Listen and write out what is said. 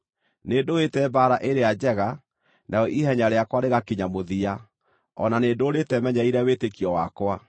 Nĩndũĩte mbaara ĩrĩa njega, narĩo ihenya rĩakwa rĩgakinya mũthia, o na nĩndũũrĩte menyereire wĩtĩkio wakwa.